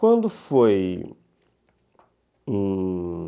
Quando foi em...